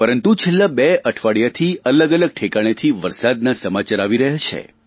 પરંતુ છેલ્લાં બે અઠવાડિયામાંથી અલગ અલગ ઠેકાણેથી વરસાદના સમાચાર આવી રહ્યા છે